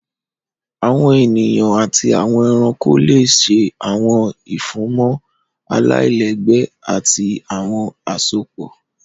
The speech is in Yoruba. Àwọn eniyan ati awọn ẹranko le ṣe awọn ifunmọ alailẹgbẹ ati awọn asopọ.